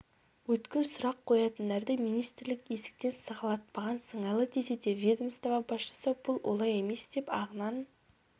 өткір сұрақ қоятындарды министрлік есіктен сығалатпаған сыңайлы десе де ведомство басшысы бұл олай емес деп ағынан